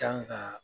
Kan ka